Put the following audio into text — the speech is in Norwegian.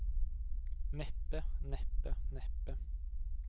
neppe neppe neppe